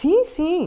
Sim, sim.